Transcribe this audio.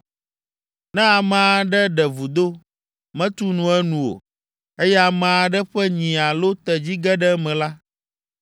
“Ne ame aɖe ɖe vudo, metu nu enu o, eye ame aɖe ƒe nyi alo tedzi ge ɖe eme la,